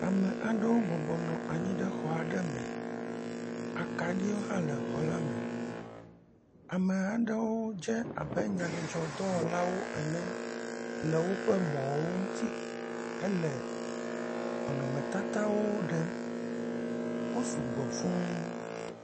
Ame aɖewo bɔbɔnɔ anyi ɖe xɔ aɖe me. Akaɖiwo hã le xɔ la me. Ame aɖewo dze abe nyadzɔdzɔdɔwɔla ene le woƒe mɔwo ŋuti hele nɔnɔmetatawo ɖem. Wo sugbɔ fũu.